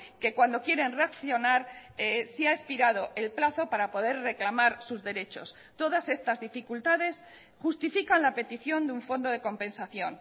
que cuando quieren reaccionar se ha expirado el plazo para poder reclamar sus derechos todas estas dificultades justifican la petición de un fondo de compensación